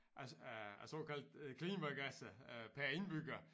Af af af såkaldt klimagasser øh per indbygger